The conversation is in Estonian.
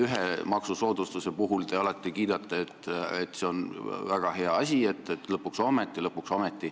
Ühte maksusoodustust te alati kiidate, et see on väga hea asi, et lõpuks ometi.